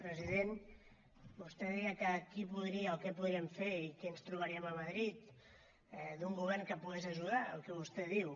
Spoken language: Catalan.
president vostè deia que qui podria o què podríem fer i qui ens trobaríem a madrid d’un govern que pogués ajudar al que vostè diu